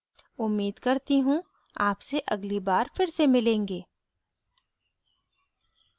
उम्मीद करती हूँ आपसे अगली bye फिर से मिलेंगे